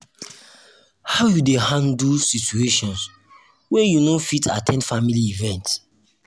how you dey handle handle situation when you no fit at ten d family event?